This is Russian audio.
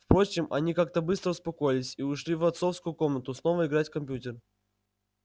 впрочем они как-то быстро успокоились и ушли в отцовскую комнату снова играть в компьютер